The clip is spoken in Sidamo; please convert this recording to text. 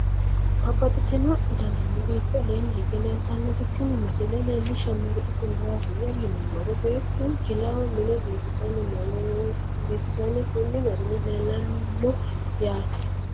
Babaxxittinno daninni biiffe aleenni hige leelittannotti tinni misile lelishshanori isi maattiya yinummoro beettu jilaho minne biiffisanni konni garinni leellanno yaatte.